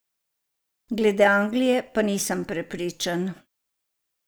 Glede Anglije pa nisem prepričan.